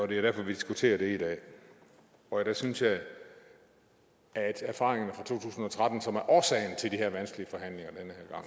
det er derfor vi diskuterer det i dag der synes jeg at erfaringerne fra to tusind og tretten som er årsagen til de her vanskelige gang